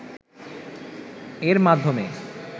এর মাধ্যমে